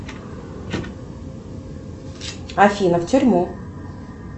афина в тюрьму